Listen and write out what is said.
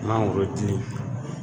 N'an ko ki